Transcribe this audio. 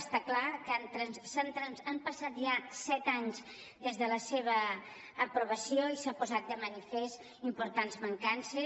està clar que han passat ja set anys des de la seva aprovació i s’han posat de manifest importants mancances